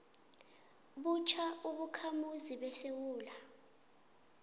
butjha ubakhamuzi besewula